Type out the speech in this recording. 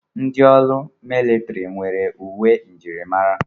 Ndị ọrụ militiri nwere uwe njirimara.